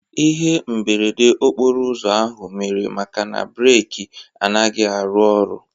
Ihe mberede okporouzo ahụ mere maka na breki anaghị arụ oru